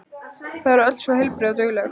Þau eru öll svo heilbrigð og dugleg.